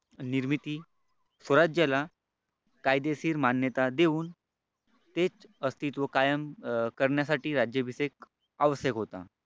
निर्मिती स्वराज्याला कायदेशीर मान्यता देऊन तेच अस्तित्व कायम करण्यासाठी राज्याभिषेक आवश्यक होता.